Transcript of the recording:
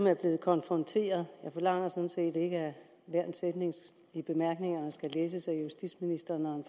er blevet konfronteret med jeg forlanger sådan set ikke at hver en sætning i bemærkningerne skal læses af justitsministeren